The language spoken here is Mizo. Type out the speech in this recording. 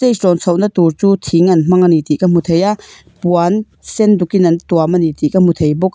hrawn chho na tur chu thing an hmang a ni tih ka hmu thei a puan sen duk in an tuam a ni tih ka hmu thei bawk a.